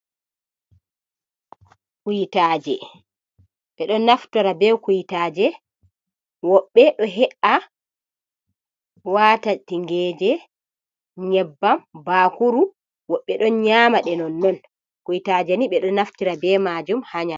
"Kuytaje" ɓeɗo naftora be kuytaaje woɓɓe ɗo he'an waata tingeje, nyebbam bakuru woɓɓe ɗon nyama non non kuytaje ni ɓeɗo naftira be majum ha.